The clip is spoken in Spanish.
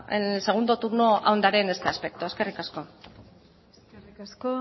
en el segundo turno ahondaré en este aspecto eskerrik asko eskerrik asko